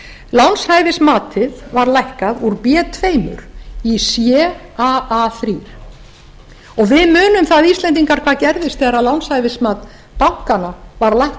lánshæfismatið var lækkað úr b tvö í caa þrjú og við munum það íslendingar hvað gerðist þegar lánshæfismat bankanna var lækkað